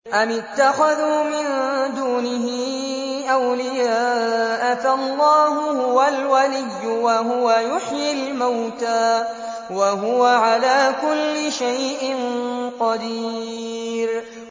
أَمِ اتَّخَذُوا مِن دُونِهِ أَوْلِيَاءَ ۖ فَاللَّهُ هُوَ الْوَلِيُّ وَهُوَ يُحْيِي الْمَوْتَىٰ وَهُوَ عَلَىٰ كُلِّ شَيْءٍ قَدِيرٌ